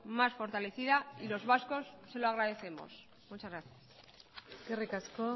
más fortalecida y los vascos se lo agradecemos muchas gracias eskerrik asko